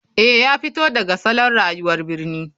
Eh ya fito daga salon rayuwar birni.